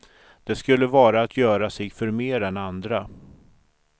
Det skulle vara att göra sig förmer än andra.